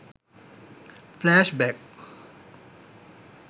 flashback